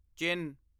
ਚਿਨ